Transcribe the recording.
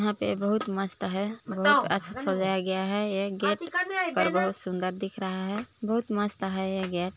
यहाँ पे बहुत मस्त हैं बहुत अच्छा सजाया गया हैं ये गेट पर बहुत सुंदर दिख रहा हैं बहुत मस्त हैं यह गेट --